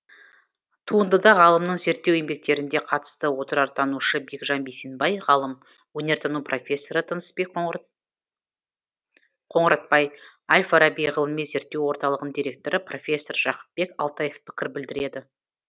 туындыда ғалымның зерттеу еңбектерінде қатысты отырартанушы бекжан бейсенбай ғалым өнертану профессоры тынысбек қоңыратбай әл фараби ғылыми зерттеу орталығының директоры профессор жақыпбек алтаев пікір білдіреді